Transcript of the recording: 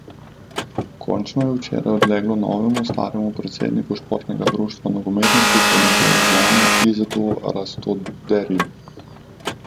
Končno, je včeraj odleglo novemu staremu predsedniku Športnega društva Nogometni klub Olimpija Ljubljana Izetu Rastoderju.